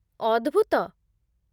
ଅଦ୍ଭୁତ